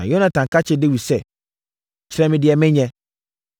Na Yonatan ka kyerɛɛ Dawid sɛ, “Kyerɛ me deɛ menyɛ!”